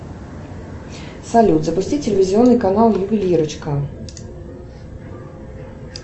салют запусти телевизионный канал ювелирочка